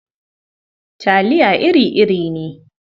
Talia iri-iri ne.